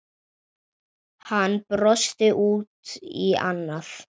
Hann brosti út í annað.